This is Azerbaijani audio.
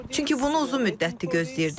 Çünki bunu uzun müddətdir gözləyirdik.